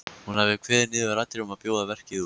Hún hafi kveðið niður raddir um að bjóða verkið út.